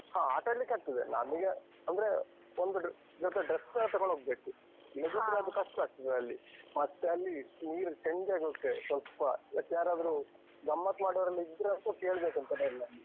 ಹ. ಆಟಾಡ್ಲಿಕ್ ಆಗ್ತದೆ. ಅಲ್ಲಿಗೆ ಅಂದ್ರೆ ಒಂದು ಜೊತೆ dress ಸ ತೆಗೊಂಡ್ ಹೋಗ್ಬೇಕು. ಅದು ಕಷ್ಟ ಆಗ್ತದೆ ಅಲ್ಲಿ. ಮತ್ತೆ ಅಲ್ಲಿ ನೀರಲ್ ಚಂಡಿ ಆಗ್ ಹೋಗ್ತೇವೆ, ಸ್ವಲ್ಪ. ಮತ್ಯಾರಾದ್ರೂ ಗಮ್ಮತ್ತ್ ಮಾಡುವವರೆಲ್ಲ ಇದ್ರಂತೂ ಕೇಳ್ಬೇಕೂಂತಾನೇ ಇಲ್ಲ ಅಲ್ಲಿ.